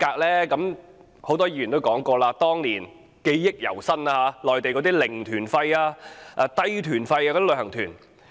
正如很多議員提及，這是由於內地的"零團費"、"低團費"的旅行團。